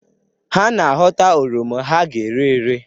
Ha na-aghọta oroma ha ga-ere ere.